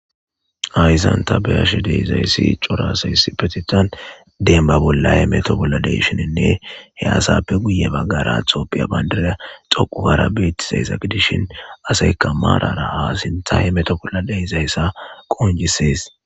Haysanta beyashe de izayssi corasayssi petitan demba bollahe meto bolla deshininne he asappe guye baggara atopiya bayndida xoqugara beetizayssa gidishin aseyka maarara haasinthahe meto bolla de izayssa qonjisees